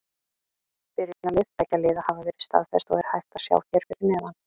Byrjunarlið beggja liða hafa verið staðfest og er hægt að sjá hér fyrir neðan.